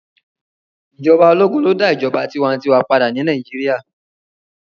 Ijọba ologun lo da ijọba tiwantiwa pada ni Naijiria